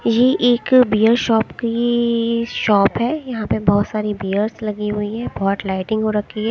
ये एक beer shop की ई ई शॉप है यहाँ पे बहोत सारी बीयर्स लगी हुई है बहोत लाइटिंग हो रखी है।